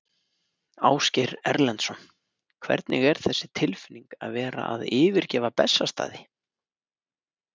Ásgeir Erlendsson: Hvernig er þessi tilfinning að vera að yfirgefa Bessastaði?